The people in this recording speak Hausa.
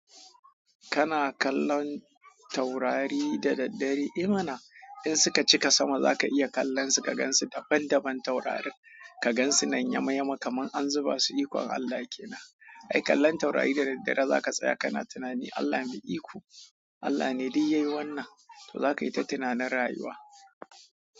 Kana kallon taurari da daddare, eh ma na in suka cika sama zaka iya kallon su ka gan su daban daban taurarin. Kagan su nan yama yama kamar an zuba su ikon Allah. Ai kallon taurari da daddare zaka tsaya kana tunani Allah mai iko, Allah ne duk yayi wannan, to zaka yi ta tunanin rayuwa.